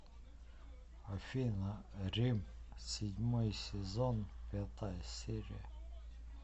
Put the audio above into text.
афина рим седьмой сезон пятая серия